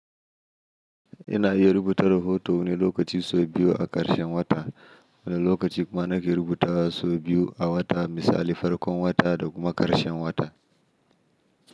Ina iya rubuta rahoto wani lokaci sau biyu a ƙarshen wata wani lokaci kuma nake rubutawa sau biyu a wata misali farkon wata da kuma ƙarshen wata.